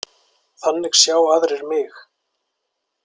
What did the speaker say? Þannig sjá aðrir mig.